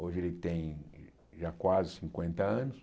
Hoje ele tem já quase cinquenta anos.